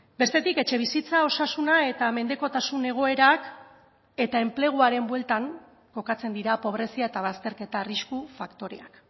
bestetik etxebizitza osasuna eta mendekotasun egoerak eta enpleguaren bueltan kokatzen dira pobrezia eta bazterketa arrisku faktoreak